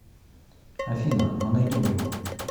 афина мы найдем его